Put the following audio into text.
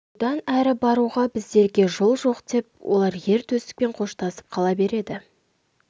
бұдан әрі баруға біздерге жол жоқ деп олар ер төстікпен қоштасып қала береді